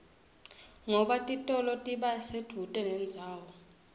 ngoba titolo tiba sedvute nendzawo